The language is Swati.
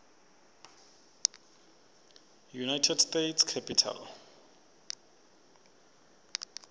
united states capitol